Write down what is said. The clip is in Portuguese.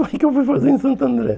O que eu fui fazer em Santo André?